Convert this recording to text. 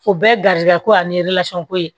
O bɛɛ garizigɛ ko ani ko ye